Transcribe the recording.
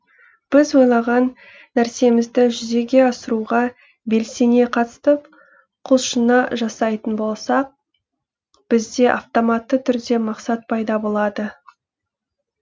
біз ойлаған нәрсемізді жүзеге асыруға белсене қатыстық құлшына жасайтын болсақ бізде автоматты түрде мақсат пайда болады